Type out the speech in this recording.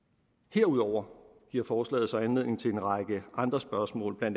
herudover giver forslaget så anledning til en række andre spørgsmål bla